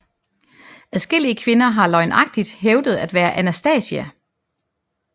Adskillige kvinder har løgnagtigt hævdet at være Anastasija